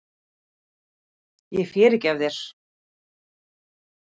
Ég fyrirgef þér.